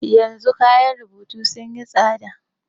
Yanzu kayan rubutu sun yi tsada.